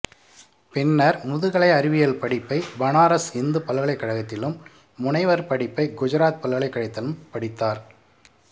பின்னர் முதுகலை அறிவியல் படிப்பை பனாரஸ் இந்து பல்கலைக்கழகத்திலும் முனைவர் படிப்பை குஜராத் பல்கலைக்கழகத்திலும் படித்தார்